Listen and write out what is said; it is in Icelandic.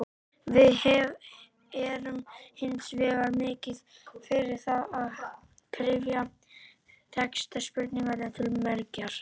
Við erum hins vegar mikið fyrir það að kryfja texta spurninganna til mergjar.